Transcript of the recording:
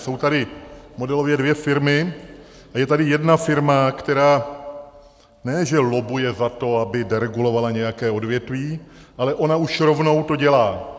Jsou tady modelově dvě firmy a je tady jedna firma, která ne že lobbuje za to, aby deregulovala nějaké odvětví, ale ona už rovnou to dělá.